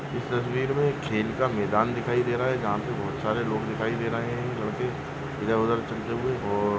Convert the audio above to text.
इस तस्वीर में एक खेल का मैदान दिखाई दे रहा है जहाँ पे बहुत सारे लोग दिखाई दे रहे है लड़के इधर उधर चलते हुए और --